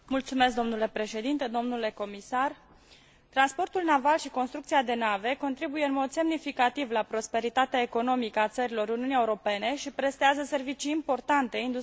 Transportul naval și construcția de nave contribuie în mod semnificativ la prosperitatea economică a țărilor Uniunii Europene și prestează servicii importante industriei europene și mondiale precum și consumatorilor.